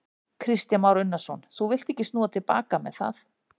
Kristján Már Unnarsson: Þú villt ekki snúa til baka með það?